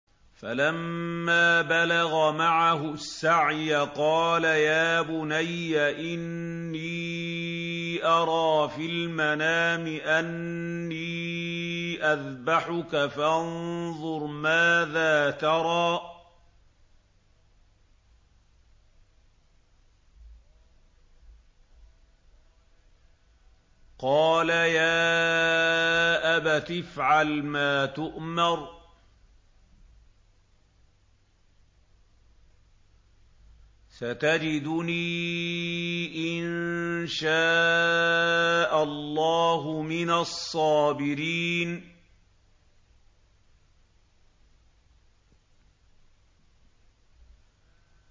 فَلَمَّا بَلَغَ مَعَهُ السَّعْيَ قَالَ يَا بُنَيَّ إِنِّي أَرَىٰ فِي الْمَنَامِ أَنِّي أَذْبَحُكَ فَانظُرْ مَاذَا تَرَىٰ ۚ قَالَ يَا أَبَتِ افْعَلْ مَا تُؤْمَرُ ۖ سَتَجِدُنِي إِن شَاءَ اللَّهُ مِنَ الصَّابِرِينَ